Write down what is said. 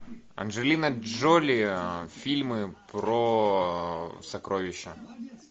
анджелина джоли фильмы про сокровища